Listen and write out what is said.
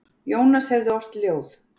Jónas hefði ort ljóð.